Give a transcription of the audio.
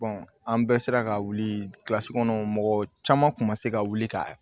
an bɛɛ sera ka wuli kilasi kɔnɔ mɔgɔ caman kun ma se ka wuli ka